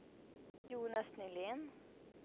Jonas Nylén